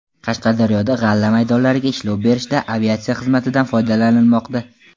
Qashqadaryoda g‘alla maydonlariga ishlov berishda aviatsiya xizmatidan foydalanilmoqda.